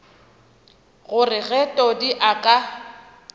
gore ge todi a ka